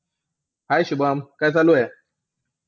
Hi Shubham काय चालू आहे?